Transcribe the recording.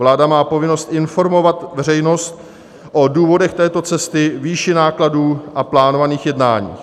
Vláda má povinnost informovat veřejnost o důvodech této cesty, výši nákladů a plánovaných jednáních.